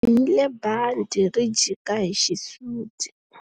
U bohile bandhi ri jika hi xisuti.